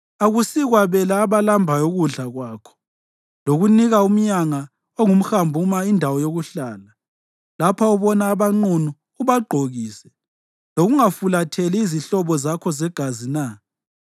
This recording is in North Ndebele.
Akusikwabela abalambayo ukudla kwakho lokunika umnyanga ongumhambuma indawo yokuhlala, lapho ubona abanqunu ubagqokise, lokungafulatheli izihlobo zakho zegazi na?